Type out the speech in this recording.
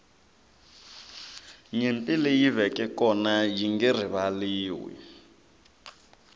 nyimpi leyi veke kona yinge rivaliwi